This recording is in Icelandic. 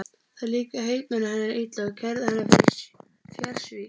Það líkaði heitmanni hennar illa og kærði hana fyrir fjársvik.